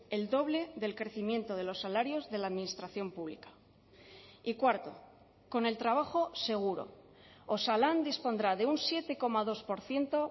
el doble del crecimiento de los salarios de la administración pública y cuarto con el trabajo seguro osalan dispondrá de un siete coma dos por ciento